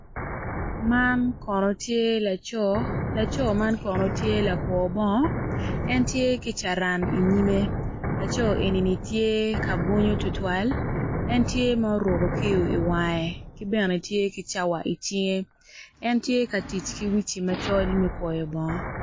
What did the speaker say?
Man kono tye laco laco man kono tye lagwo bongo en tye ki caran inyime laco enini tye ka bwunyo tutwal en tye ma oruko kiyo iwange ki bene tye ki cawa icinge en tye ka tic ki wuci macol me kwoyo bongo.